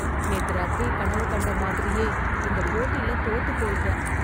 நேத்து ராத்திரி கனவு கண்ட மாதிரியே இந்த போட்டில தோத்து போய்ட்டேன்.